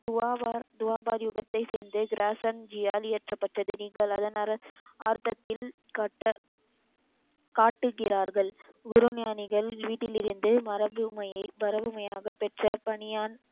துவாபர் துவாபர் யுகத்தை சேர்ந்து கிராசென் ஜியால் இயற்றப்பட்டது நீங்கள் அதன் ஆர்தத்தில் கட்ட காட்டுகிறார்கள் குரு ஞானிகள் வீட்டில் இருந்து மரபுவமையை பரபுவமையாக பெற்ற பனியான்,